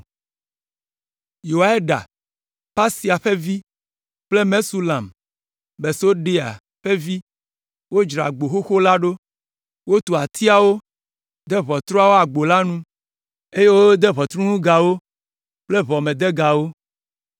Yoiada, Pasea ƒe vi kple Mesulam, Besodeia ƒe vi wodzra Agbo Xoxo la ɖo. Wotu atiawo, de ʋɔtruawo agbo la nu, eye wode ʋɔtruŋugawo kple ʋɔmedegawo.